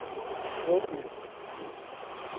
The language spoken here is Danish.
Broby